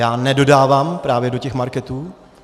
Já nedodávám právě do těch marketů.